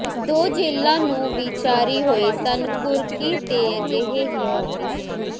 ਦੋ ਜੇਲ੍ਹਾਂ ਨੂੰ ਵੀ ਜਾਰੀ ਹੋਏ ਸਨ ਕੁਰਕੀ ਦੇ ਅਜਿਹੇ ਹੀ ਨੋਟਿਸ